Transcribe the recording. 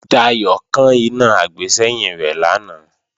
Dayò kán iná àgbésẹ́yìn rẹ̀ lánàá